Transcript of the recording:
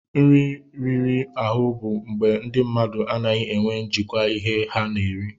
Nri riri ahụ bụ mgbe ndị mmadụ anaghị enwe njikwa ihe ha na-eri.